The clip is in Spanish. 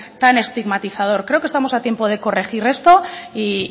tan estigmatizador creo que estamos a tiempo de corregir esto y